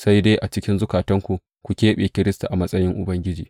Sai dai a cikin zukatanku ku keɓe Kiristi a matsayin Ubangiji.